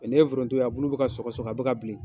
n' ye foronto ye a bulu bɛ ka sɔgɔ sɔgɔ a bɛ ka bilen